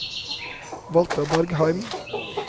Walter Bergheim